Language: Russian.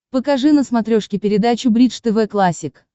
покажи на смотрешке передачу бридж тв классик